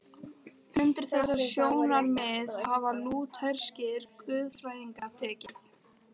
Undir þetta sjónarmið hafa lútherskir guðfræðingar tekið.